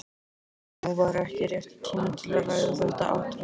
Nú var ekki rétti tíminn til að ræða þetta atriði.